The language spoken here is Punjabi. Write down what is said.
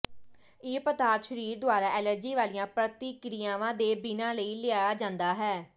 ਇਹ ਪਦਾਰਥ ਸਰੀਰ ਦੁਆਰਾ ਐਲਰਜੀ ਵਾਲੀਆਂ ਪ੍ਰਤੀਕ੍ਰਿਆਵਾਂ ਦੇ ਬਿਨਾਂ ਲਿਆ ਜਾਂਦਾ ਹੈ